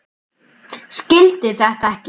Skildi þetta ekki.